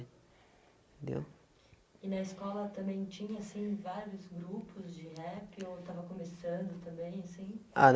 entendeu? E na escola também tinha assim vários grupos de rap, ou estava começando também assim? a